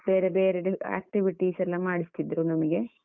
ಬೇರೆ ಬೇರೆ activities ಎಲ್ಲ ಮಾಡಿಸ್ತಿದ್ರು ನಮ್ಗೆ.